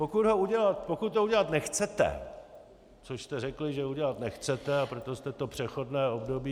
Pokud to udělat nechcete, což jste řekli, že udělat nechcete, a proto jste to přechodné období -